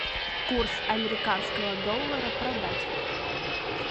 курс американского доллара продать